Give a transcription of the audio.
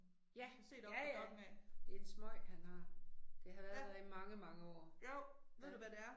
Ja, ja ja. Det er en smøg, han har. Det har været der i mange mange år. Ja. Nej